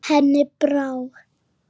Hún sagðist ekki vera svöng.